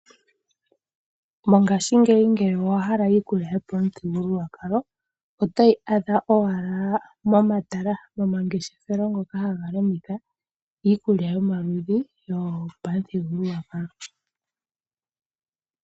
Mongaashingeyi ngele owa hala iikulya yopamuthigululwakalo oto yi adha owala momatala gomangeshefelo ngoka haga landitha iikulya yomaludhi yopamuthigululwakalo.